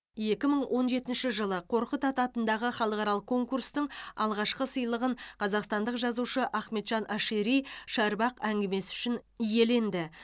екі мың он жетінші жылы қорқыт ата атындағы халықаралық конкурстың алғашқы сыйлығын қазақстандық жазушы ахметжан ашири шарбақ әңгімесі үшін иеленді